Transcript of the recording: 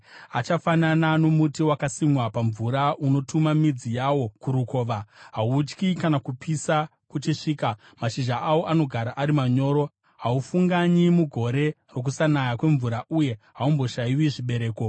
Achafanana nomuti wakasimwa pamvura, unotuma midzi yawo kurukova. Hautyi kana kupisa kuchisvika; mashizha awo anogara ari manyoro. Haufunganyi mugore rokusanaya kwemvura, uye haumboshayiwi zvibereko.”